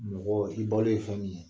Mɔgɔ i balo ye fɛn min ye.